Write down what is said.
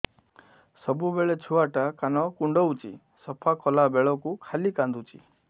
ସବୁବେଳେ ଛୁଆ ଟା କାନ କୁଣ୍ଡଉଚି ସଫା କଲା ବେଳକୁ ଖାଲି କାନ୍ଦୁଚି